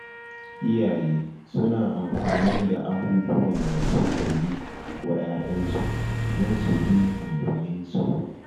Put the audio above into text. Iyaye suna amfani da abubuwan da suka yi wa ya'yansu don su bi umurninsu